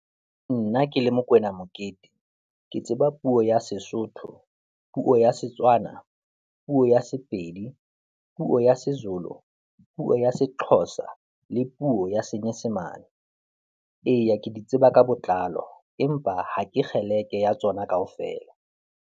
Nna ke le Mokoena Mokete, ke tseba puo ya Sesotho, puo ya Setswana, puo ya Sepedi, puo ya Sezulu, puo ya Sexhosa le puo ya Senyesemane. Eya, ke di tseba ka botlalo empa ha ke kgeleke ya tsona kaofela.